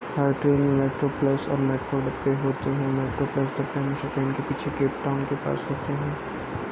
हर train में metro plus और metro डब्बे होते हैं मेट्रो प्लस डब्बे हमेशा ट्रेन के पीछे केप टाउन के पास होते हैं